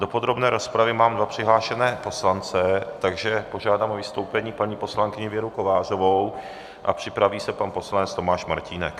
Do podrobné rozpravy mám dva přihlášené poslance, takže požádám o vystoupení paní poslankyni Věru Kovářovou a připraví se pan poslanec Tomáš Martínek.